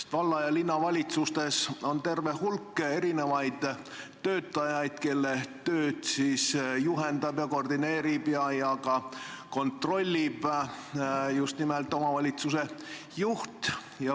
Valla- ja linnavalitsustes on terve hulk töötajaid, kelle tööd juhendab, koordineerib ja ka kontrollib just nimelt omavalitsuse juht.